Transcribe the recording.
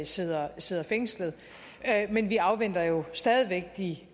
sidder sidder fængslet men vi afventer jo stadig væk de